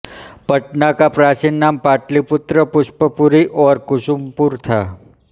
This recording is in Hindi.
पटना का प्राचीन नाम पाटलिपुत्र पुष्पपुरी और कुसुमपुर था